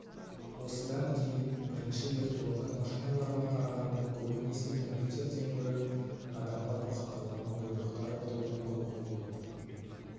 осыдан кейін бірінші виртуалды машиналарға қарағанда көбінесе компьютерден гөрі адамға бағытталған бұйрықтар тобын құруға болады